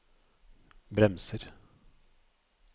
bremser